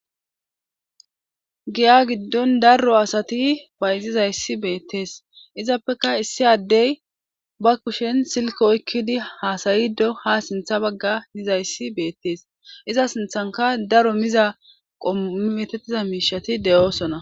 Giya giddon darro asati payzizayssi beettees izappeka issi addey ba kushen silko oykkidi haasayiddo hasintha bagga yizayssi beettees iza sinthanka daro miza qometettiza miishati de'oosona.